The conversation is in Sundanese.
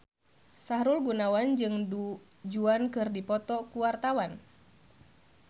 Sahrul Gunawan jeung Du Juan keur dipoto ku wartawan